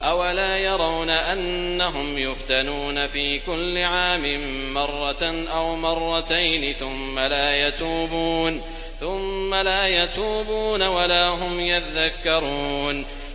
أَوَلَا يَرَوْنَ أَنَّهُمْ يُفْتَنُونَ فِي كُلِّ عَامٍ مَّرَّةً أَوْ مَرَّتَيْنِ ثُمَّ لَا يَتُوبُونَ وَلَا هُمْ يَذَّكَّرُونَ